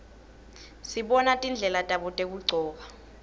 sibona tindlela tabo tekugcoka